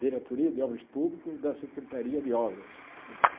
Diretoria de Obras Públicas da Secretaria de Obras de São Paulo.